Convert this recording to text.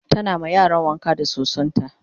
tana ma yaran wanka da sosonta